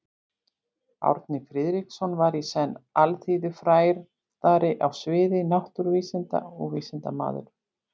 Árni Friðriksson var í senn alþýðufræðari á sviði náttúruvísinda og vísindamaður.